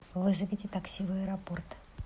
вызовите такси в аэропорт